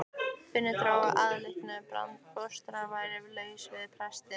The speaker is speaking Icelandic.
Finnur dró þá ályktun að barnfóstran væri laus við pestina.